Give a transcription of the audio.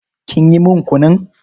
Kin yi min kunun?